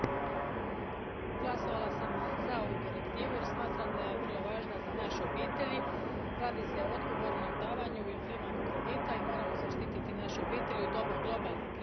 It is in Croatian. Gospodine predsjedniče, glasovala sam za ovu direktivu jer smatram da je vrlo važna za naše obitelji. Radi se o odgovornom davanju i uzimanju kredita i moramo zaštititi naše obitelji u doba globalne krize.